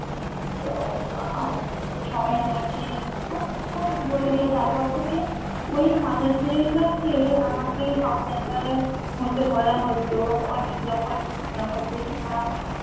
তো আ সবাই আমাকে খুব খুব বলেছিল তারপর থেকে ওই মাদার টেরেসা কে আমাকে সব জায়গায় হতে বলা হত অনেক যখন হচ্ছে কিনা